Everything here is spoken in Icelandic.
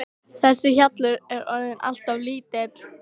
Þessi hjallur er orðinn allt of lítill.